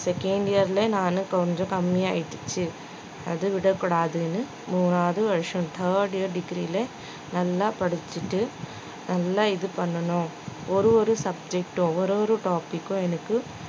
second year லே நானு கொஞ்சம் கம்மியாயிட்டுச்சு அது விடக்கூடாதுனு மூணாவது வருஷம் third year degree லே நல்லா படிச்சுட்டு நல்லா இது பண்ணனும் ஒரு ஒரு subject உம் ஒரு ஒரு topic உம் எனக்கு